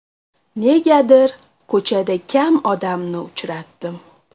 Negadir ko‘chada kam odamni uchratdim.